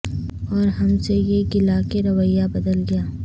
اور ہم سے یہ گلہ کہ رویہ بدل گیا